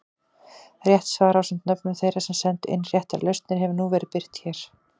Rétt svar ásamt nöfnum þeirra sem sendu inn réttar lausnir hefur nú verið birt hér.